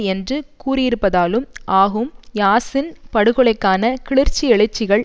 என்று கூறியிருப்பதாலும் ஆகும் யாசின் படுகொலைக்கான கிளர்ச்சி எழுச்சிகள்